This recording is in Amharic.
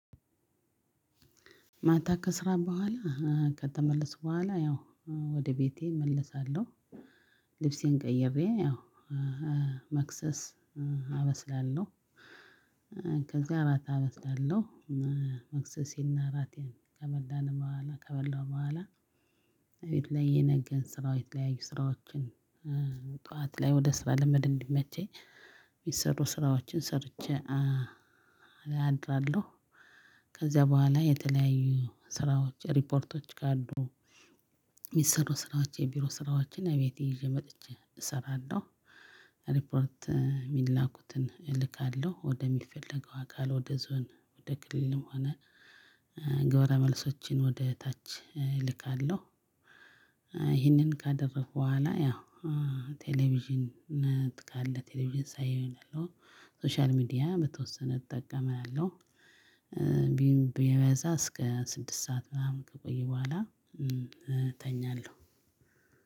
ማታ ከስራ በኋላ ከተመለስኩ በኋላ ያው ወደ ቤቴ እመለሳለሁ። ልብሴን ቀይሬ ያው መክሰስ አበስላለሁ ከዛ ራት አበስላለሁ መክሰሴን እና ራቴን ከበላን በኋላ ከበላው በኋላ፣ ቤት ላይ የነገን ስራዎች የተለያዩ ስራዎችን ጠዋት ላይ ወደ ስራ ለመሄድ እንዲመቸኝ፣ የሚሰሩ ስራዎችን ሰርቼ አድራለሁ፤ ከዚያ በኋላ የተለያዩ ስራዎች ሪፖርቶች ካሉ የሚሰሩ ስራዎች የቢሮ ስራዎችን ቤቴ ይዤ መጥቼ እሰራለሁ። ሪፖርት የሚላኩትን እልካለሁ ወደሚፈለገው አካል ወደ ዞን ወደ ክልልም ሆነ ገብረ መልሶችን ወደ ታች እልካለሁ። ይህንን ካደረኩ በኋላ ያው ቴሌቪዥን ካለ ቴሌቪዥን ሳይ ሶሻል ሚዲያ በተወሰነ እጠቀማለሁ። ቢበዛ እስከ ስድስት ሰዓት ምናምን ከቆየሁ በኋላ እተኛለሁ።